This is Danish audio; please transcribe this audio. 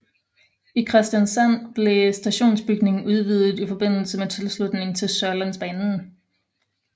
I Kristiansand blev stationsbygningen udvidet i forbindelse med tilslutningen til Sørlandsbanen